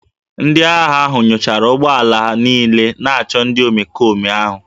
Ndị agha ahụ nyochara ụgbọ ala niile na-achọ ndị omekome ahụ